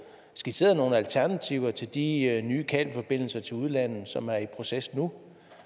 skitseret nogle alternativer til de nye kabelforbindelser til udlandet som er i proces nu